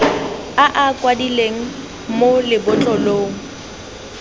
a a kwadilweng mo lebotlolong